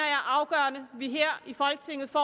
er afgørende at vi her i folketinget får